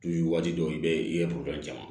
waati dɔw i bɛ i ye caman